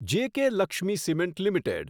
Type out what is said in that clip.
JK Lakshmi cement limited